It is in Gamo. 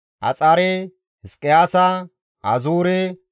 Axare, Hizqiyaasa, Azuure,